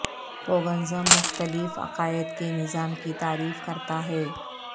paganism مختلف عقائد کے نظام کی تعریف کرتا ہے